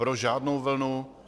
Pro žádnou vlnu.